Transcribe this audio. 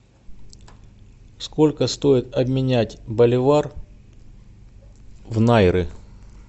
сколько стоит обменять боливар в найры